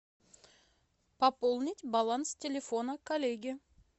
пополнить баланс телефона коллеги